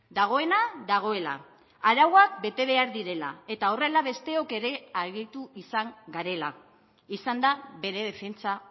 dagoena dagoela arauak bete behar direla eta horrela besteok ere aritu izan garela izan da bere defentsa